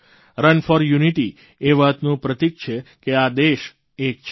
run for unity એ વાતનું પ્રતિક છે કે આ દેશ એક છે